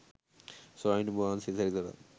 ස්වාමිනි! නුඹ වහන්සේ සැරිසරා